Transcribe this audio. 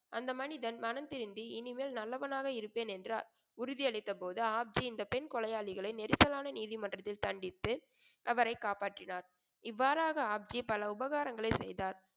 அந்த மனிதன் மனம் திருந்தி இனிமேல் நல்லவனாக இருப்பேன் என்றார். உறுதியளித்த போது ஆப்ஜி இந்த பெண் கொலையாளிகளை நெரிசலான நீதிமற்றத்தில் தண்டித்து அவரைக் காப்பாற்றினார். இவ்வாறாக ஆப்ஜி பல உபகாரங்களைச் செய்தார்.